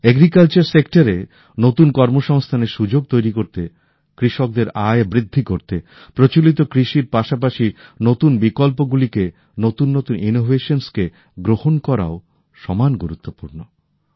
কৃষি ক্ষেত্রে নতুন কর্মসংস্থানের সুযোগ তৈরি করতে কৃষকদের আয় বৃদ্ধি করতে প্রচলিত কৃষির পাশাপাশি নতুন বিকল্পগুলিকে নতুন নতুন উদ্ভাবনকে গ্রহণ করাও সমান গুরুত্বপূর্ণ